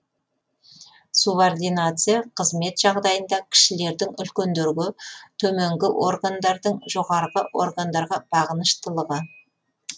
субординация қызмет жағдайында кішілердің үлкендерге төменгі органдардың жоғарғы органдарға бағыныштылығы